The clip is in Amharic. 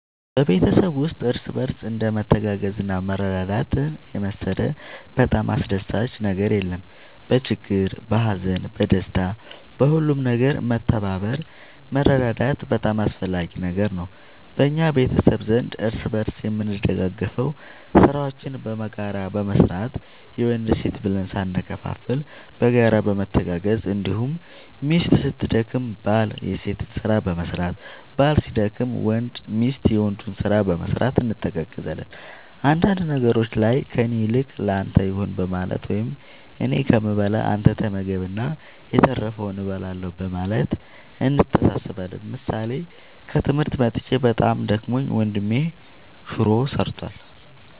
በቤተሰብ ውስጥ እርስ በርስ እንደ መተጋገዝና መረዳዳት የመሰለ በጣም አስደሳች ነገር የለም በችግር በሀዘን በደስታ በሁሉም ነገር መተባበር መረዳዳት በጣም አስፈላጊ ነገር ነው በእኛ ቤተሰብ ዘንድ እርስ በርስ የምንደጋገፈው ስራዎችን በጋራ በመስራት የወንድ የሴት ብለን ሳንከፋፈል በጋራ በመተጋገዝ እንዲሁም ሚስት ስትደክም ባል የሴትን በመስራት ባል ሲደክም ሚስት የወንዱን ስራ በመስራት እንተጋገዛለን አንዳንድ ነገሮች ላይ ከእኔ ይልቅ ለአንተ ይሁን በማለት ወይም እኔ ከምበላ አንተ ተመገብ እና የተረፈውን እበላለሁ በማለት እንተሳሰባለን ምሳሌ ከትምህርት መጥቼ በጣም ደክሞኝ ወንድሜ ሹሮ ሰርቷል።